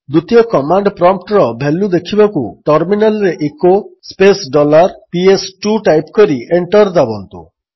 ଦ୍ୱିତୀୟ କମାଣ୍ଡ୍ ପ୍ରମ୍ପ୍ଟର ଭାଲ୍ୟୁ ଦେଖିବାକୁ ଟର୍ମିନାଲ୍ରେ ଇକୋ ସ୍ପେସ୍ ଡଲାର୍PS2 ଟାଇପ୍ କରି ଏଣ୍ଟର୍ ଦାବନ୍ତୁ